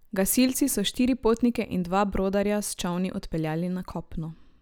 Gasilci so štiri potnike in dva brodarja s čolni odpeljali na kopno.